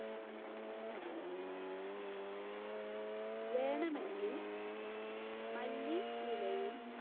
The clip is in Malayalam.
വേണമെങ്കിൽ മല്ലി ഇലയും